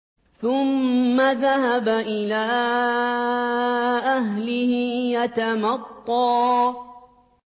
ثُمَّ ذَهَبَ إِلَىٰ أَهْلِهِ يَتَمَطَّىٰ